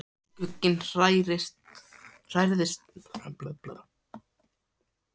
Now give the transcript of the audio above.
Skugginn hrærðist ekki svo Ari áræddi að líta upp.